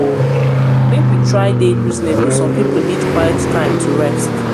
make we try dey reasonable; some pipo need quiet time to rest.